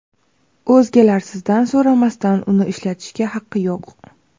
o‘zgalar sizdan so‘ramasdan uni ishlatishga haqqi yo‘q.